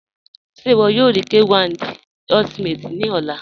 Ṣẹ iwọ yọ rí K1 De Ultimate ni ọ̀là?